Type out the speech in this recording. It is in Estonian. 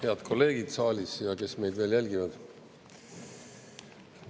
Head kolleegid saalis ja kes meid veel jälgivad!